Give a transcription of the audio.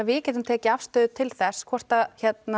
við getum tekið afstöðu til þess hvort